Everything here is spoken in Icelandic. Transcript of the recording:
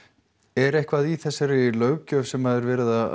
er eitthvað í þessari löggjöf sem er verið að